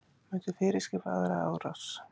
Myndi fyrirskipa aðra árás